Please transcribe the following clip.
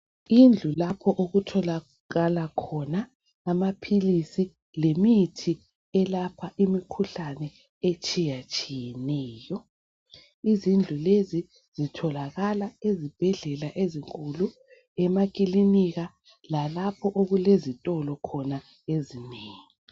Indlu lapho okutholakala khona amaphilisi lemithi elapha imikhuhlane etshiya tshiyeneyo izindlu lezi zitholakala ezibhedlela ezinkulu emakilinika lalapho okulezitolo khona ezinengi.